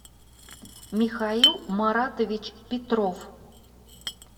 михаил маратович петров